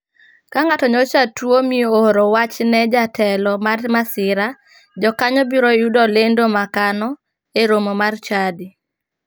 Ka ng'ato nyocha tuo mi ooro wach ne jatelo mar masira, jokanyo biro yudo lendo makano e romo mar chadi.